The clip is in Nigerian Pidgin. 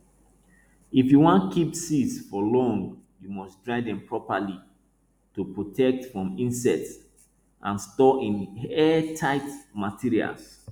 if you wan keep seeds for long you must dry them properly to protect from insects and store in airtight materials